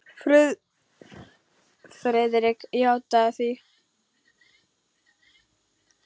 Friðrik játaði því.